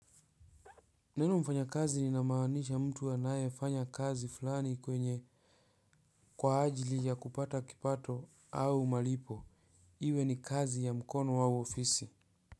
Neno mfanya kazi linamaanisha mtu anaye fanya kazi fulani kwenye, kwa ajili ya kupata kipato au malipo. Iwe ni kazi ya mkono au ofisi.